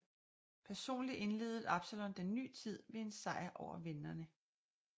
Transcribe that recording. Personlig indledede Absalon den ny tid ved en sejr over venderne